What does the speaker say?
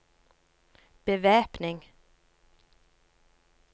bevæpning